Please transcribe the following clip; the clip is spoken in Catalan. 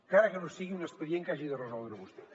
encara que no sigui un expedient que hagi de resoldre vostè